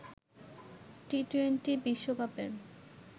টি twenty বিশ্বকাপের